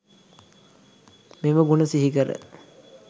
මෙම ගුණ සිහිකර